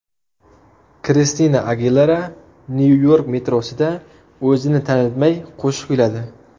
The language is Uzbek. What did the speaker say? Kristina Agilera Nyu-York metrosida o‘zini tanitmay qo‘shiq kuyladi .